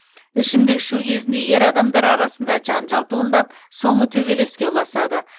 ішімдік ішу кезінде ер адамдар арасында жанжал туындап соңы төбелеске ұласады